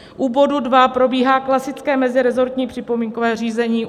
U bodu dva probíhá klasické mezirezortní připomínkové řízení.